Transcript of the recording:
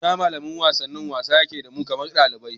Malamin wasanni shima wasa yake yi da mu kamar ɗalibi